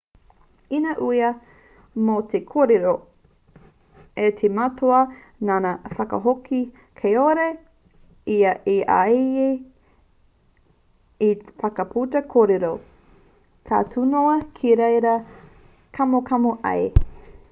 ina uia mō te kōrero a te matua nāna i whakahoki kāore ia i āhei te whakaputa kōrero ka tū noa ki reira kamokamo ai